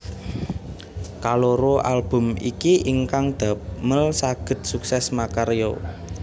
Kaloro album iki ingkang damel sagéd sukses makarya